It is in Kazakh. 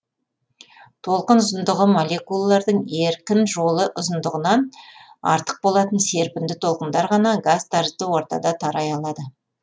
толқын ұзындығы молекулалардың еркін жолы ұзындығынан артық болатын серпінді толқындар ғана газ тәрізді ортада тарай алады